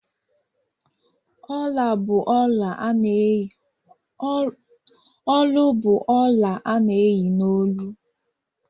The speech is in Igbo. Olu bụ ọla a na-eyi n'olu.